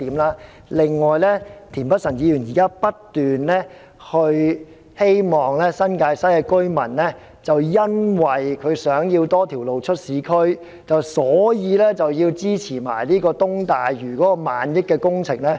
此外，田議員現時不斷說，新界西居民希望有多一條鐵路直達市區，所以要支持東大嶼萬億元的工程。